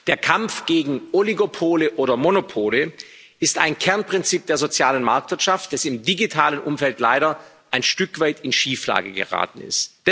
Der Kampf gegen Oligopole oder Monopole ist ein Kernprinzip der sozialen Marktwirtschaft, das im digitalen Umfeld leider ein Stück weit in Schieflage geraten ist.